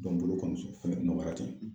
Ne kɔni bolo kɔmuso kɔnɔdimi baara tɛ.